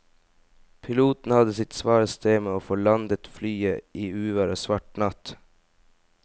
Piloten hadde sitt svare strev med å få landet flyet i uvær og svart natt.